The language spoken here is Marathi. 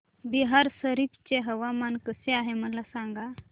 बिहार शरीफ चे हवामान कसे आहे मला सांगा